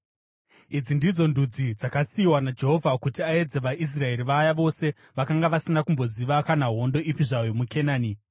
Idzi ndidzo ndudzi dzakasiyiwa naJehovha kuti aedze vaIsraeri vaya vose vakanga vasina kumboziva kana hondo ipi zvayo muKenani,